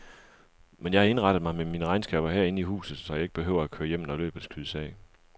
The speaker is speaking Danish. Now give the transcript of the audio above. Men jeg har indrettet mig med mine regnskaber herinde i huset, så jeg ikke behøver at køre hjem, når løbet skydes af.